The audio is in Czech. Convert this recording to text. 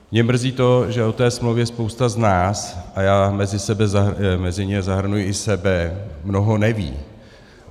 Mě mrzí to, že o té smlouvě spousta z nás - a já mezi ně zahrnuji i sebe - mnoho neví.